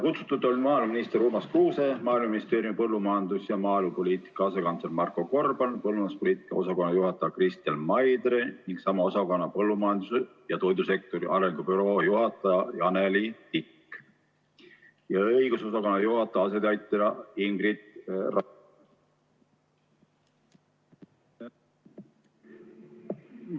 Kutsutud olid maaeluminister Urmas Kruuse, Maaeluministeeriumi põllumajandus- ja maaelupoliitika asekantsler Marko Gorban, põllumajanduspoliitika osakonna juhataja Kristel Maidre ning sama osakonna põllumajandus- ja toidusektori arengu büroo juhataja Janeli Tikk ja õigusosakonna juhataja asetäitja Ingrid Raidme.